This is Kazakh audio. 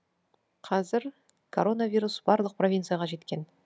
қазір коронавирус барлық провинцияға жеткен